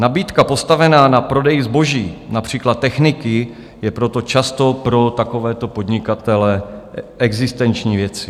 Nabídka postavená na prodeji zboží, například techniky, je proto často pro takovéto podnikatele existenční věcí.